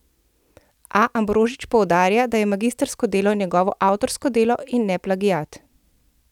A Ambrožič poudarja, da je magistrsko delo njegovo avtorsko delo in ne plagiat.